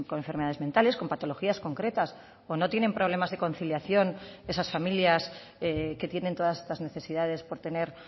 enfermedades mentales con patologías concretas o no tienen problemas de conciliación esas familias que tienen todas estas necesidades por tener